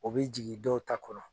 O bɛ jigin dɔw ta kɔnɔ.